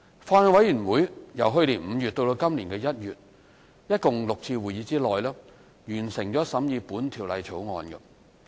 法案委員會由去年5月至今年1月共舉行的6次會議，完成審議《條例草案》。